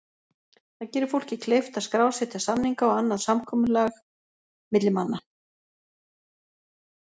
Það gerir fólki kleift að skrásetja samninga og annað samkomulag milli manna.